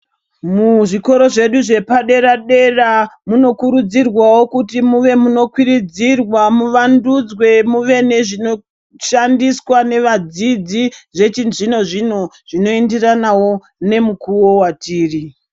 Muzvikora zvedu zvepadera-dera, munokurudzirwawo kuti muve munokwiridzirwa muvandudzwe, muve nezvinoshandiswa nevadzidzi zvechizvino zvino, zvinoenderanawo nemukuwo watiri.